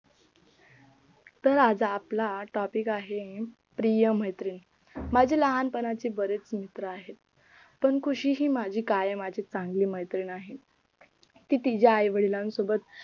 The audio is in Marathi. तर आजचा आपल्या topic आहे प्रिय मैत्रिण माझी लहानपणाचे बरेच मित्र आहेत पण खुशी ही माझी कायम माझी चांगली मैत्रीण आहे ती तिच्या आई-वडिलांसोबत